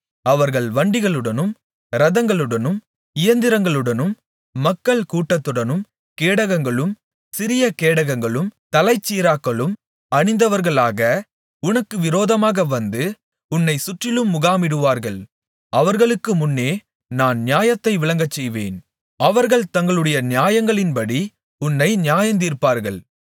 அவர்கள் வண்டிகளுடனும் இரதங்களுடனும் இயந்திரங்களுடனும் மக்கள்கூட்டத்துடனும் கேடகங்களும் சிரியகேடகங்களும் தலைச்சீராக்களும் அணிந்தவர்களாக உனக்கு விரோதமாக வந்து உன்னை சுற்றிலும் முகாமிடுவார்கள் அவர்களுக்கு முன்னே நான் நியாயத்தை விளங்கச்செய்வேன் அவர்கள் தங்களுடைய நியாயங்களின்படி உன்னை நியாயந்தீர்ப்பார்கள்